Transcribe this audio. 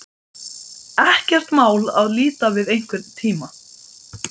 Ekkert mál að líta við einhvern tíma.